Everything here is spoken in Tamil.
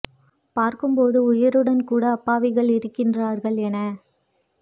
பார்க்கும் போது உயிருடன் கூட அப்பாவிகள் இருக்கின்றார்கள் என